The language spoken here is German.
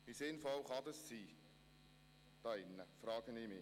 Wie sinnvoll kann das sein, hier im Grossen Rat, frage ich mich?